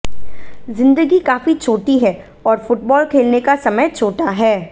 जिंदगी काफी छोटी है और फुटबॉल खेलने का समय छोटा है